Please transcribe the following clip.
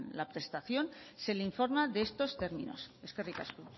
la prestación se le informa de estos términos eskerrik asko